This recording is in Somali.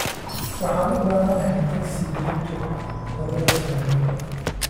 Waxaan u baahanahay taksi berrito labada subaxnimo